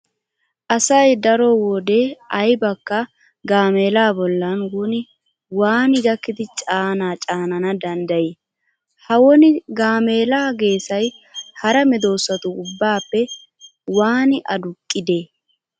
Asay daro wode aybakka gaameelaa bollan woni waani gakkidi caanaa caanana danddayii? Ha woni gaameelaa geesay hara medoosatu ubbaappe waani aduqqidee?